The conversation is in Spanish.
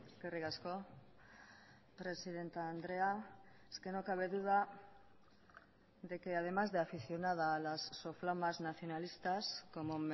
eskerrik asko presidente andrea es que no cabe duda de que además de aficionada a las soflamas nacionalistas como